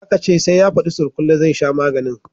Aka ce sai ya fadi surkullen zai sha maganin